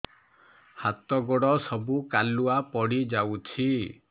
ହାତ ଗୋଡ ସବୁ କାଲୁଆ ପଡି ଯାଉଛି